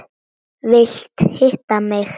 Vilt hitta mig.